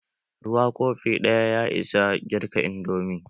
Ruwa kofi ɗaya ya isa girka indomi.